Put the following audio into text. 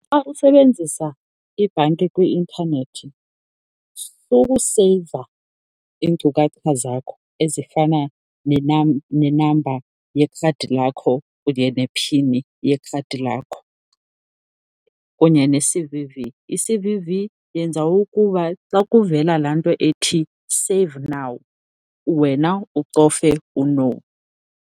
Xa usebenzisa ibhanki kwi-intanethi sukuseyiva iinkcukacha zakho ezifana nenamba yekhadi lakho kunye nephini yekhadi lakho kunye ne-C_V_V. I-C_V_V yenza ukuba xa kuvela laa nto ethi, save now, wena ucofe u-no.